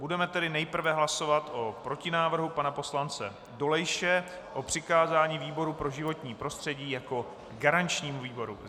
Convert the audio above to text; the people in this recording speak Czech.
Budeme tedy nejprve hlasovat o protinávrhu pana poslance Dolejše, o přikázání výboru pro životní prostředí jako garančnímu výboru.